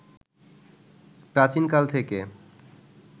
প্রাচীন কাল থেকে